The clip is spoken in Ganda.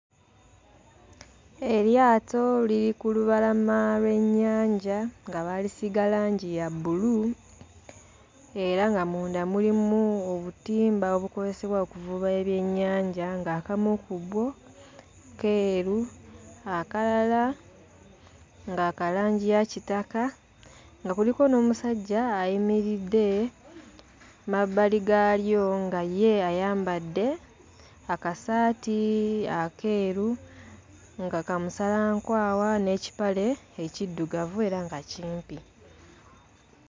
Eryato liri ku lubalama lw'ennyanja nga baalisiiga langi ya bbulu era nga munda mulimu obutimba obukozesebwa okuvuba ebyennyanja ng'akamu ku bwo keeru, akalala nga ka kangi ya kitaka, nga kuliko n'omusajja ayimiridde mabbali gaalyo nga ye ayambadde akasaati akeeru nga ka musalankwawa n'ekipale ekiddugavu era nga kimpi.